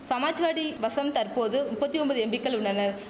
சமாஜ்வாடி வசம் தற்போது நுப்பத்தி ஒம்பது எம்பிக்கள் உள்ளனர்